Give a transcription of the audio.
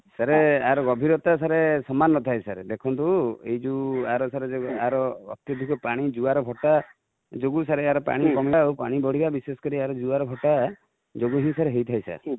sir ୟାର ଗଭୀରତା sir ସମାନ ନା ଥାଏ ସାର|ଦେଖନ୍ତୁ ଯଉ ୟାର sir ୟାର ଯଉ actually ସେ ପାଣି ଜୁଆର ଭଟ୍ଟା ଯୋଗୁ sir ୟାର ପାଣି କମିବା ଆଉ ପାଣି ବଢିବା ବିଶେଷ କରି ୟାର ଜୁଆର ଭଟ୍ଟା ଯୋଗୁ ହିଁ ହେଇ ଥାଏ sir |